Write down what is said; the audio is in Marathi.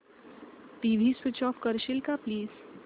टीव्ही स्वीच ऑफ करशील का प्लीज